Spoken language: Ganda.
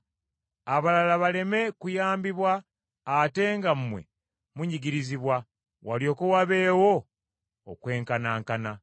Abalala baleme kuyambibwa ate nga mmwe munyigirizibwa, walyoke wabeewo, okwenkanankana.